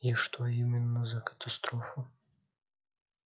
и что именно за катастрофу